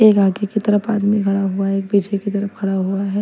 एक आगे की तरफ आदमी खड़ा हुआ है एक पीछे की तरफ खड़ा हुआ है।